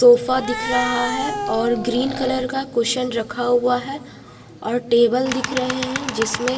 तोफा दिख रहा है और ग्रीन कलर का कुशन रखा हुआ है और टेबल दिख रहे हैं जिसमें--